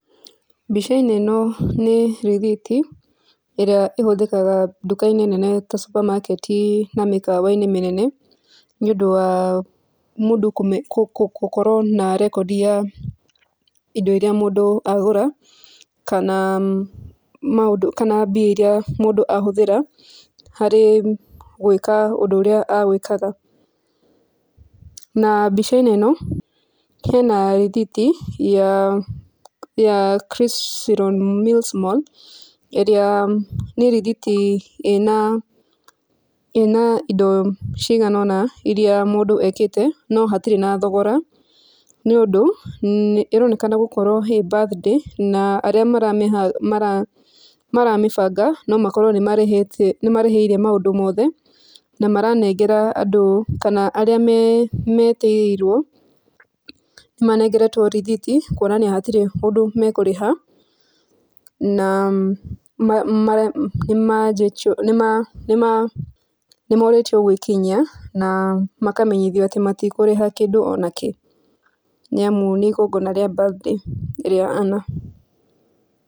Mbica-inĩ ĩno, nĩ rĩthiti, ĩrĩa ĩhũthĩkaga ndukainĩ nene ta supermarket i, na mĩkawainĩ mĩnene, nĩũndũ wa mũndũ kũme, kũkũkũ, gũkorwo na rekodi ya indo iria mũndũ agũra, kana maũndũ, kana mbia iria mũndũ ahũthĩra, harĩ gwĩka ũndũ ũrĩa egwĩkaga, na mbicainĩ ĩno, hena rĩthiti, ya, ya mall, ĩrĩa nĩ rĩthiti ĩna, ĩna indo cigana ũna, iria mũndũ ekĩte, no hatirĩ na thogora, nĩ ũndũ, nĩ ĩaronekana gũkorwo he birthday, na arĩa maramĩha, mara, mara, maramĩbanga, no makorwo nĩ marĩhĩte, nĩ marĩhĩire maũndũ mothe, na maranengera andũ kana, arĩa me, metĩirwo, nĩmanengeretwo rĩthiti, kwonania hatirĩ ũndũ mekũrĩha, na, ma, ma, nĩma, nima, nima, nĩmorĩtio gwikinyia, na, makamenyithio atĩ matikũrĩha kĩndũ onakĩ, nĩamũ nĩ igongona rĩa birthday ĩrĩa ana.